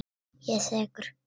Ég er sekur.